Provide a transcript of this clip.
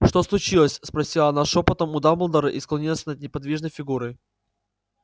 что случилось спросила она шёпотом у дамблдора и склонилась над неподвижной фигурой